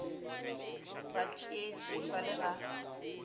ba tshetše ba le ga